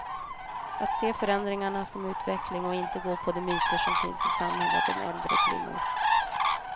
Att se förändringarna som utveckling och inte gå på de myter som finns i samhället om äldre kvinnor.